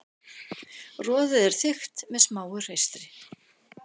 Roðið er þykkt með smáu hreistri.